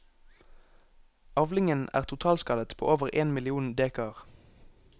Avlingen er totalskadet på over én million dekar.